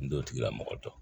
N t'o tigila mɔgɔ dɔn